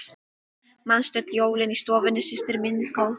Manstu öll jólin í stofunni systir mín góð.